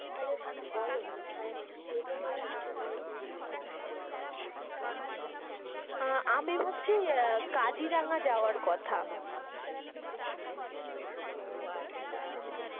তাহলে বলো কোথাই মানে যেতে চাও সেটা তো বোলো, মানে কোথায় যাবো আমরা আমি ভাবছি কাজিরাঙা যাওয়ার কথা, ও আচ্ছা,